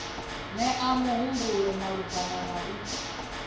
nea mihumbulo malugana na u